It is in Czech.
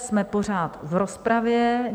Jsme pořád v rozpravě.